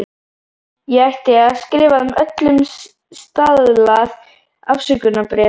Ég ætti að skrifa þeim öllum staðlað afsökunarbréf.